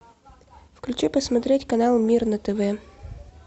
включи посмотреть канал мир на тв